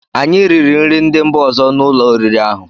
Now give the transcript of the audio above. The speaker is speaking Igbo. Anyị riri nri ndị mba ọzọ n'ụlọ oriri ahụ.